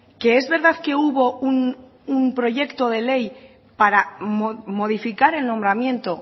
que es verdad que hubo un proyecto de ley para modificar el nombramiento